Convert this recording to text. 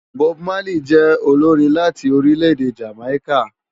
Bob Marley jè ólórin láti órilè-èdé Jámáiká